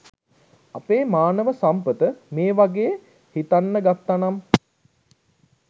අපේ මානව සම්පත මේවගේ හිතන්නගත්තනම්